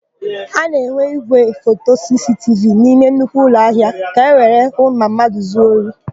A na-enwe ígwéfoto sisitivi n'ime nnukwu ụlọahịa ka ewere hụ ma mmadụ zuo ohi.